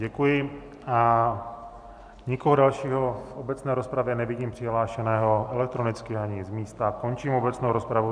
Děkuji, a nikoho dalšího v obecné rozpravě nevidím přihlášeného elektronicky ani z místa, končím obecnou rozpravu.